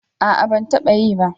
A'a ban taba yi ba